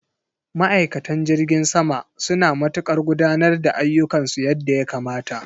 Ma'aikatan jirgin sama suna matukar gudanar da ayyukansu yadda ya kamata.